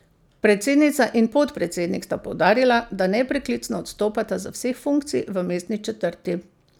Predsednica in podpredsednik sta poudarila, da nepreklicno odstopata z vseh funkcij v mestni četrti.